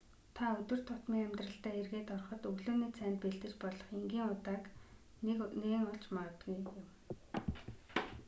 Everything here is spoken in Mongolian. та өдөр тутмын амьдралдаа эргээд ороход өглөөний цайнд бэлдэж болох энгийн удааг нээн олж магадгүй юм